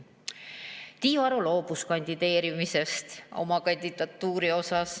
Tiiu Aro loobus kandideerimisest.